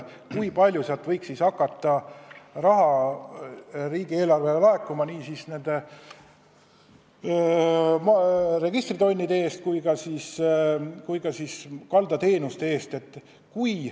Ei tea, kui palju võiks hakata raha riigieelarvesse laekuma nii nende registritonnide eest kui ka kaldateenuste eest.